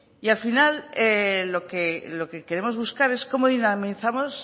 y al final lo que queremos buscar es cómo dinamizamos